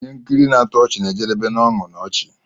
Ihe nkiri na-atọ ọchị na-ejedebe n'ọñụ na ọchị.